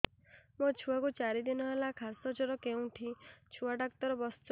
ମୋ ଛୁଆ କୁ ଚାରି ଦିନ ହେଲା ଖାସ ଜର କେଉଁଠି ଛୁଆ ଡାକ୍ତର ଵସ୍ଛନ୍